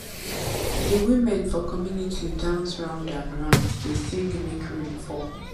di women for community dance round and round dey sing make rain fall